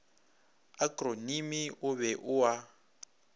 akronimi o be o a